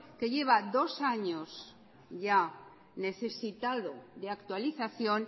que lleva dos años ya necesitado de actualización